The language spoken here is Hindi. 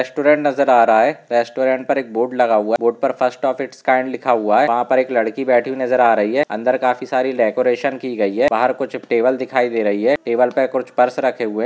रेस्टोरेंट नजर आ रहा है रेस्टोरेंट पर एक बोर्ड लगा हुआ है बॉर्डर पर फर्स्ट आफ इट्स काईम लिखा हुआ हैं वहां पर एक लड़की बैठी हुई नजर आ रही हैं अंदर काफी सारी डेकोरेशन की गई हैं बाहर कुछ टेबल दिखाई दे रही हैं टेबल पर कुछ पर्स रखे हुए हैं।